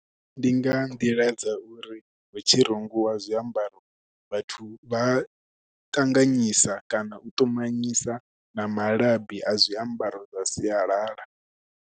Ndi nga nḓila dza uri hu tshi rungiwa zwiambaro, vhathu vha ṱanganyisa kana u ṱumanyisa na malabi a zwiambaro zwa sialala.